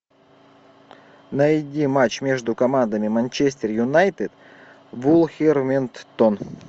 найди матч между командами манчестер юнайтед вулверхэмптон